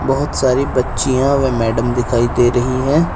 बहोत सारी बच्चियां व मैडम दिखाई दे रही है।